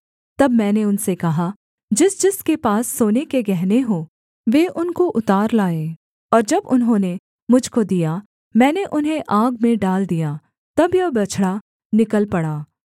तब मैंने उनसे कहा जिस जिसके पास सोने के गहने हों वे उनको उतार लाएँ और जब उन्होंने मुझ को दिया मैंने उन्हें आग में डाल दिया तब यह बछड़ा निकल पड़ा